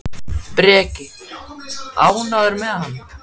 Breki: Ánægður með hann?